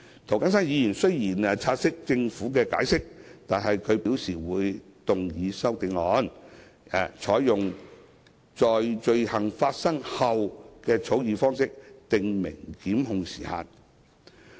涂謹申議員雖然察悉政府的解釋，但他表示會動議修正案，採用"在罪行發生後"的草擬方式訂明檢控時限。